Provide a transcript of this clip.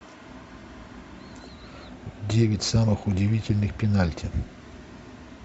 девять самых удивительных пенальти